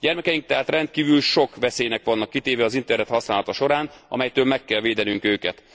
Gyermekeink tehát rendkívül sok veszélynek vannak kitéve az internet használata során, amelyektől meg kell védenünk őket.